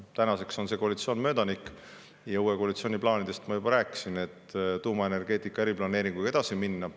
Tänaseks on see koalitsioon möödanik ja uue koalitsiooni plaanidest ma juba rääkisin: tuumaenergeetika eriplaneeringuga edasiminek.